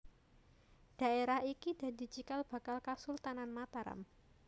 Dhaérah iki dadi cikal bakal Kasultanan Mataram